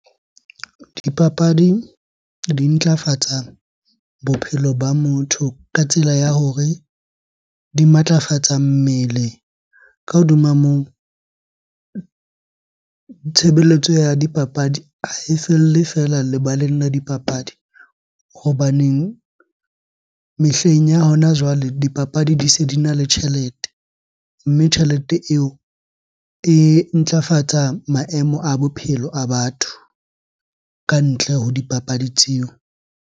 Dipapadi di ntlafatsa bophelo ba motho ka tsela ya hore di matlafatsa mmele. Ka hodima moo, tshebeletso ya dipapadi ha e felle feela lebaleng la dipapadi hobaneng mehleng ya hona jwale dipapadi di se di na le tjhelete. Mme tjhelete eo e ntlafatsa maemo a bophelo a batho ka ntle ho dipapadi tseo.